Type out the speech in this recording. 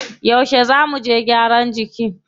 Yauce zá muje gyaran jiki?